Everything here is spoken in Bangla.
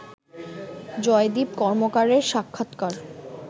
জয়দীপ কর্মকারের সাক্ষাৎকার